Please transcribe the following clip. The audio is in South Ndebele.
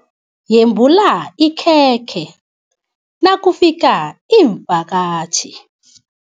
Yembula ikhekhe nakufika iimvakatjhi.